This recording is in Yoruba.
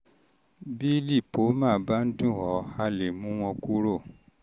bí lípómà bá ń dùn ọ́ a lè mú wọn kúrò